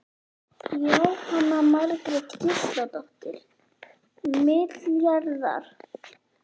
Jóhanna Margrét Gísladóttir: Milljarðar?